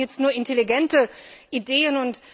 Wir brauchen jetzt nur intelligente Ideen.